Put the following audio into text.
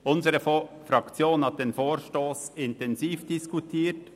Unsere Fraktion hat den Vorstoss intensiv diskutiert;